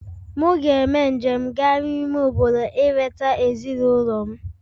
Mụ ga-eme njem gaa n'ime obodo ileta ezinụlọ m